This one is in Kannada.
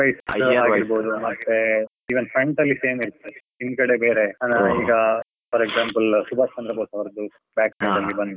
year wise ಅಗಿರ್ಬೋದು, even front ಅಲ್ಲಿ same ಇರ್ತದೆ, ಹಿಂದ್ಗಡೆ ಬೇರೆ ಸಾದಾರ್ಣ ಈಗ. ಈಗ for example Subhash Chandra Bose ಅವರ್ದು, back side ಅಲ್ಲಿ ಬಂದು.